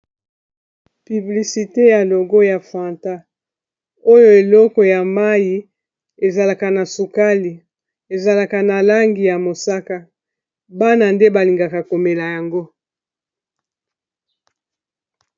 Publicite ya logo ya fanta oyo eleko ya mayi ezalaka na sukali ezalaka na langi ya mosaka bana nde balingaka komela yango.